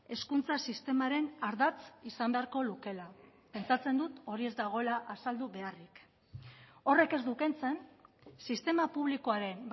hezkuntza sistemaren ardatz izan beharko lukeela pentsatzen dut hori ez dagoela azaldu beharrik horrek ez du kentzen sistema publikoaren